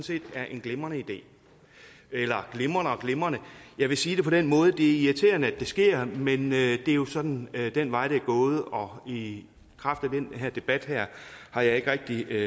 set er en glimrende idé eller glimrende og glimrende jeg vil sige det på den måde at det irriterende at det sker men det er jo sådan den vej det er gået og i kraft af den her debat har jeg ikke rigtig